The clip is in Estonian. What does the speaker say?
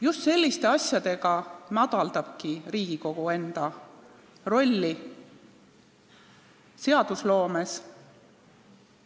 Just selliste asjadega pisendabki Riigikogu enda rolli seadusloomes.